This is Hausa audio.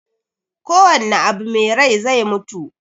Kowanne abu me rai zai mutu.